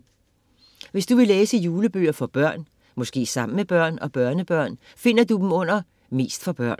Hvis du vil læse julebøger for børn, måske sammen med børn og børnebørn, finder du dem under Mest for børn.